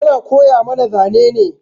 Tana koya mana zane ne.